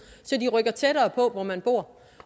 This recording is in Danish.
så de rykker tættere på hvor man bor